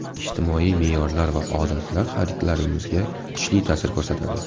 Ijtimoiy me’yorlar va odatlar xaridlarimizga kuchli ta’sir ko‘rsatadi.